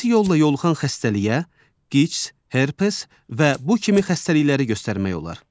Cinsi yolla yoluxan xəstəliyə QİÇS, herpes və bu kimi xəstəlikləri göstərmək olar.